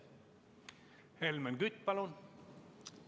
Helmen Kütt, palun!